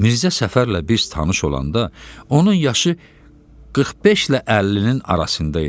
Mirzə Səfərlə biz tanış olanda onun yaşı 45-lə 50-nin arasında idi.